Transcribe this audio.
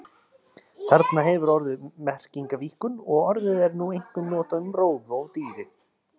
Þarna hefur orðið merkingarvíkkun og orðið er nú einkum notað um rófu á dýri.